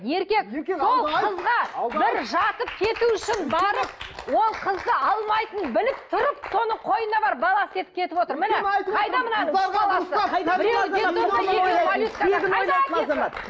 бір жатып кету үшін барып ол қызды алмайтынын біліп тұрып соның қойнына барып бала істетіп кетіп отыр